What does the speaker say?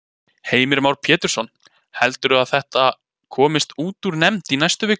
Heimir Már Pétursson: Heldurðu að þetta komist út úr nefnd í næstu viku?